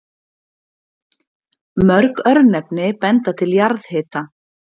Mörg örnefni benda til jarðhita.